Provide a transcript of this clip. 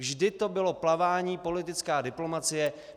Vždy to bylo plavání, politická diplomacie.